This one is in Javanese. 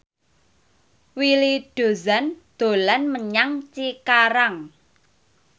Willy Dozan dolan menyang Cikarang